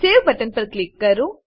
save button પર click કરો